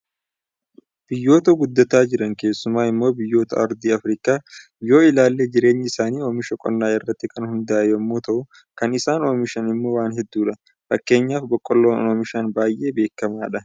Biyyoota guddataa jiran keessumaa immoo biyyoota ardii Afrikaa yoo ilaalle jireenyi isaanii oomisha qonnaa irratti kan hundaa'e yommuu ta'u, kan isaan oomishan immoo waan hedduudha. Fakkeenyaaf boqolloon oomishan baay'ee beekamaadha.